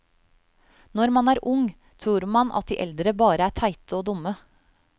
Når man er ung, tror man at de eldre bare er teite og dumme.